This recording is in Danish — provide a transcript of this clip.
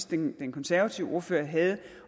den konservative ordfører havde